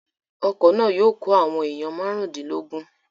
Ọkọ̀ náà yóò kó àwọn èèyàn márùndínlógún